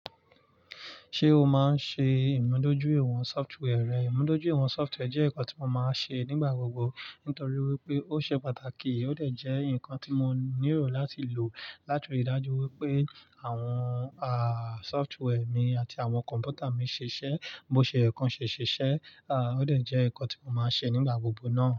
Ṣé o máa ń ṣe ìmúdójúìwọ̀n software rẹ? Ìmúdójúìwọ̀n software jẹ́ nǹkan tí mo máa ń ṣe nígbà gbogbo nítorí wípé ó ṣe pàtàkì ó dẹ̀ jẹ́ nǹkan tí mo nílò láti lò láti ríi dájú wípé àwọn software mi àti àwọn kọ̀m̀pútà mi ṣiṣẹ́ bó ṣe yẹ k'ọ́n ṣe ṣiṣẹ́. Ó dẹ̀ jẹ́ nǹkan tí mo máa ń ṣe nígbà gbogbo náà.